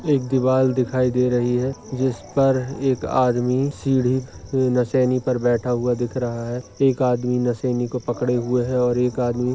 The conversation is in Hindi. एक दीवार दिखाई दे रही है जिस पर एक आदमी सीडी नसेनी पर बैठा हुआ दिख रहा है एक आदमी नसेनी को पकड़े हुए है और एक आदमी--